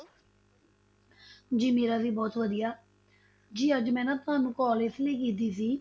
ਜੀ ਮੇਰਾ ਵੀ ਬਹੁਤ ਵਧੀਆ, ਜੀ ਅੱਜ ਮੈ ਨਾ ਤੁਹਾਨੂੰ call ਇਸ ਲਈ ਕੀਤੀ ਸੀ,